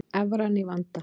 Evran í vanda